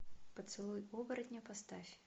поцелуй оборотня поставь